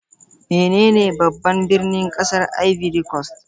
Menene babban birnin kasar Ivory Coast?